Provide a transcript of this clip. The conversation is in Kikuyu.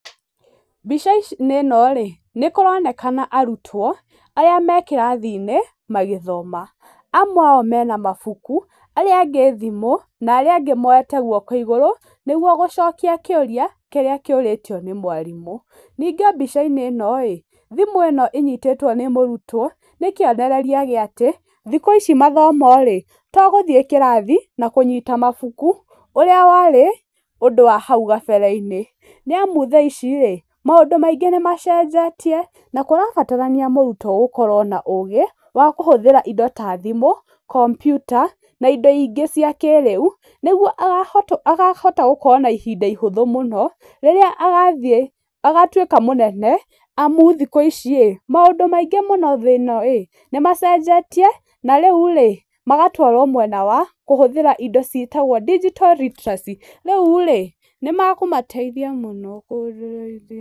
Mbica-inĩ ĩno-rĩ nĩ kũronekana arutwo arĩa me kĩrathi-inĩ magĩthoma, amwe ao, mena mabuku, arĩa angĩ thimũ, na arĩa angĩ moete guoko igũrũ nĩguo gũcokia kĩũrĩa kĩrĩa kĩũrĩtio nĩ mwarimũ. Ningĩ mbica-inĩ ĩno-rĩ, thimũ ĩno ĩnyitĩtwo nĩ mũrutwo nĩ kionereria kĩa atĩ, thikũ ici mathomo-rĩ, to gũthiĩ kĩrathi, na kũnyita mabuku, ũrĩa warĩ, ũndũ wa hau gabere-inĩ, nĩ amu thaa ici-rĩ, maũndũ maingĩ nĩ macenjetie na kũrabatarania mũrutwo gũkorwo na ũũgĩ, wa kũhũthĩra indo ta thimũ, kompyuta na indo ingĩ cia kĩrĩu, nĩguo akahota gũkorwo na ihinda ihũthũ mũno, rĩrĩa agathiĩ agatuĩka mũnene, amu thikũ ici-rĩ, maũndũ maingĩ mũno nĩ macenjetie na rĩu-rĩ magatwarwo mwena wa kũhũthĩra indo ciitagwo Digital Literacy, rĩu-rĩ, nĩ makũmateithia mũno.